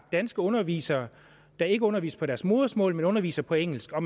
danske undervisere der ikke underviser på deres modersmål men underviser på engelsk og